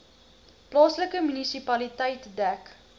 plaaslike munisipaliteit dek